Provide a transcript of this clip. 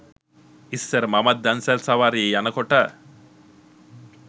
ඉස්සර මමත් දන්සැල් සවාරියේ යනකොට